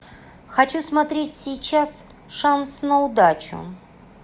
хочу смотреть сейчас шанс на удачу